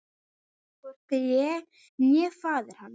Hvorki ég né faðir hans.